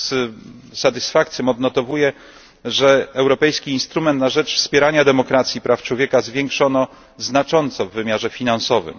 Z satysfakcją odnotowuję, że europejski instrument na rzecz wspierania demokracji i praw człowieka zwiększono znacząco w wymiarze finansowym.